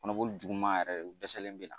Kɔnɔboli juguuma yɛrɛ u dɛsɛlen min na.